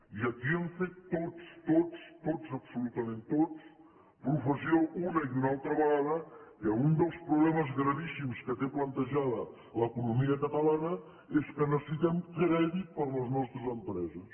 i aquí hem fet tots tots absolutament tots professió una i una altra vegada que un dels problemes gravíssimes que té plantejada l’economia catalana és que necessitem crèdit per a les nostres empreses